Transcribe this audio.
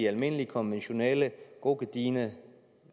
almindelige konventionelle gode gedigne